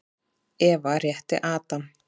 Eva rétti Adam.